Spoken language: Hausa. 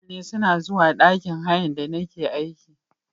Mutane suna zuwa ɗakin hayan da nake aiki.